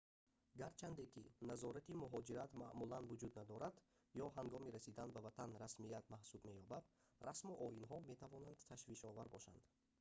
гарчанде ки назорати муҳоҷират маъмулан вуҷуд надорад ё ҳангоми расидан ба ватан расмият маҳсуб меёбад расму оинҳо метавонанд ташвишовар бошанд